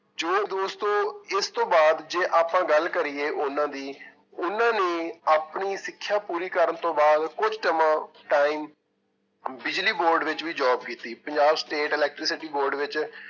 ਜੋ ਦੋਸਤੋ ਇਸਤੋਂ ਬਾਅਦ ਜੇ ਆਪਾਂ ਗੱਲ ਕਰੀਏ ਉਹਨਾਂ ਦੀ ਉਹਨਾਂ ਨੇ ਆਪਣੀ ਸਿੱਖਿਆ ਪੂਰੀ ਕਰਨ ਤੋਂ ਬਾਅਦ ਕੁੱਝ ਸਮਾਂ time ਬਿਜ਼ਲੀ board ਵਿੱਚ ਵੀ job ਕੀਤੀ, ਪੰਜਾਬ state electricity board ਵਿੱਚ